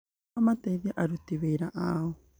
nĩguo mateithie aruti wĩra ao.